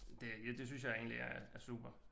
Det er det synes jeg egentlig er er super